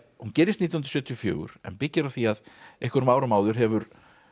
hún gerist nítján hundruð sjötíu og fjögur en byggir á því að einhverjum árum áður hefur